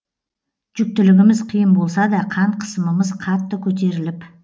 жүктілігіміз қиын болса да қан қысымымыз қатты көтеріліп